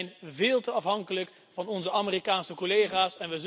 We zijn veel te afhankelijk van onze Amerikaanse collega's.